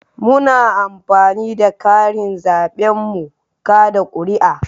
Muna amfani da karin zaben mu kaɗa kuri'a